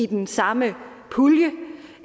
den samme pulje